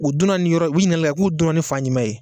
U donna nin yɔrɔ u' ɲilikali kɛ wa k'u donna ni fan jumɛn ye.